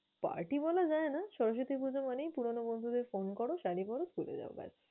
Party বলা যায় না। সরস্বতী পুজা মানেই পুরোনো বন্ধুদের phone করো, শাড়ী পর, চলে যায় bas ।